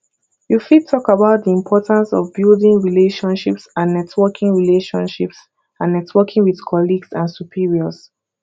you fit talk about di importance of building relationships and networking relationships and networking with colleagues and superiors